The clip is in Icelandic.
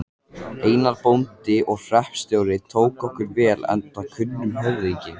Einar, bóndi og hreppstjóri, tók okkur vel enda kunnur höfðingi.